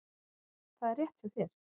Það er rétt hjá þér.